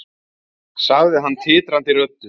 sagði hann titrandi röddu.